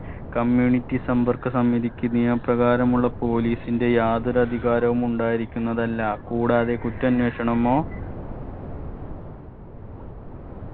community സമ്പർക്ക സമിതിക്ക് നിയമപ്രകാരമുള്ള police ന്റെ യാതൊരു അധികാരവും ഉണ്ടായിരിക്കുന്നതല്ല കൂടാതെ കുറ്റാന്വേഷണമോ